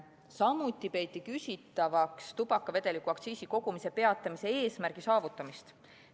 Samuti peeti küsitavaks tubakavedeliku aktsiisi kogumise peatamise eesmärgi saavutamist.